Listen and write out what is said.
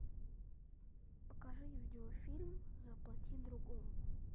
покажи видеофильм заплати другому